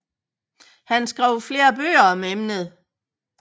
Han skrev flere bøger om emnet